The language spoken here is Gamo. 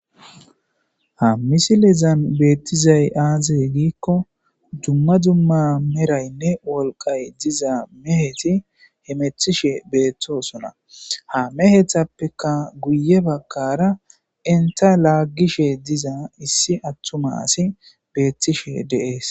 Ha misilezan beetizay aaze gikko dumma dumma meraynne wolqay diza meheti hemetishe beetosonna ha mehetappekka guye bagara enta laagishe diza issi atuma asi betishe de'es.